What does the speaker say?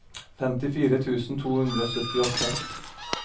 femtifire tusen to hundre og syttiåtte